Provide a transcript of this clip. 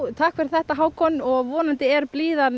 takk fyrir þetta Hákon vonandi er blíðan